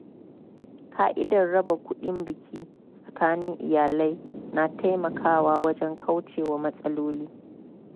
Ka'idar raba kuɗin biki tsakanin iyalai na taimakawa wajen kauce wa matsaloli.